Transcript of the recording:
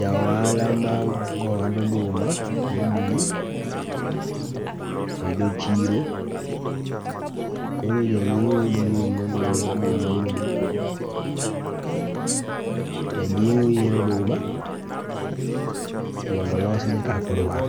Jaohala magoo ohand oduma mobul e dho chiro, koro janyieo biro mondo onyieo oduma mondobul. Janyieo yiero oduma mondo olosne kakodwaro.